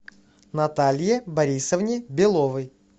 наталье борисовне беловой